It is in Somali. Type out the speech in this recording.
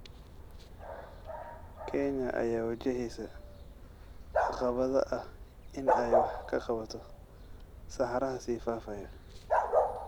Kenya ayaa wajaheysa caqabada ah in ay wax ka qabato saxaraha sii faafaya.